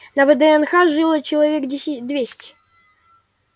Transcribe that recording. на вднх жило человек двести